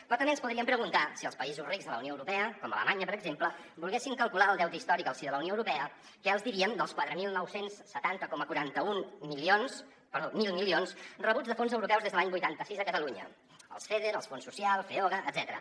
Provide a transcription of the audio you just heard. però també ens podríem preguntar si els països rics de la unió europea com alemanya per exemple volguessin calcular el deute històric al si de la unió europea que els hi dirien dels quatre mil nou cents i setanta coma quaranta un mil milions rebuts de fons europeus des de l’any vuitanta sis a catalunya els feder els fons social feoga etcètera